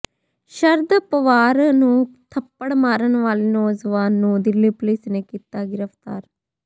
ਸ਼ਰਦ ਪਵਾਰ ਨੂੰ ਥੱਪੜ ਮਾਰਨ ਵਾਲੇ ਨੌਜਵਾਨ ਨੂੰ ਦਿੱਲੀ ਪੁਲਿਸ ਨੇ ਕੀਤਾ ਗ੍ਰਿਫਤਾਰ